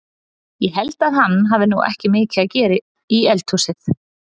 Ég held að hann hafi nú ekki mikið að gera í eldhúsið!